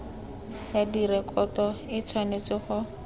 ya direkoto e tshwanetse go